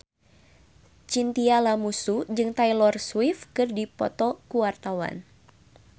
Chintya Lamusu jeung Taylor Swift keur dipoto ku wartawan